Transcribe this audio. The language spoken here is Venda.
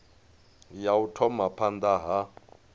ya u thoma phanda ha